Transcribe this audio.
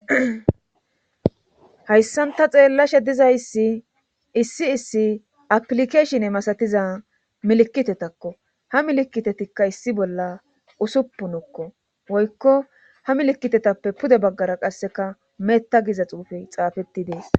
hatsan ta xeellashe dizayssi issi issi apilikeeshine masatiza milikitetakko;ha milikitetikka issi bolla usuppuna woykko ha milikitetappe pude baggara qasseka meta giza xuufee xaafetti uttides.